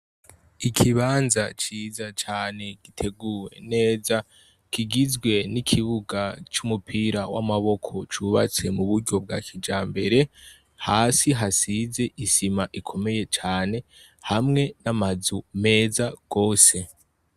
ikibanza ciza cane giteguwe neza kigizwe ni kibuga c' umupira w' amaboko cubatswe muburyo bwakijambere hasi hasize isima ikomeye cane hamwe n amazu meza gose.